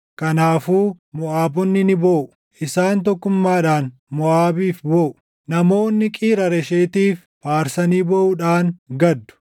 Kanaafuu Moʼaabonni ni booʼu; isaan tokkummaadhaan Moʼaabiif booʼu. Namoota Qiir Hareeshetiif faarsanii booʼuudhaan gaddu.